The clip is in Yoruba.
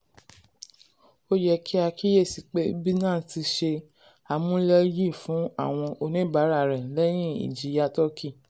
ó yẹ kí a kíyèsí pé binance ti ṣe amúléyìí fún àwọn oníbàárà rẹ̀ lẹ́yìn ìjìyà turkey.